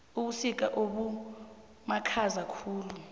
ubusika obumakhaza khulu